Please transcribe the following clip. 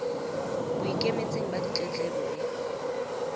bo ikemetseng ba ditletlebo e